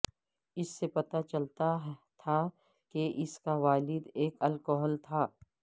اس سے پتہ چلتا تھا کہ اس کا والد ایک الکحل تھا